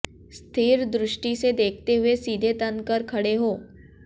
स्थिर दृष्टि से देखते हुए सीधे तन कर खड़े हो